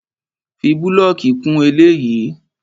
Fi búlọ̀kì kún eléyìí!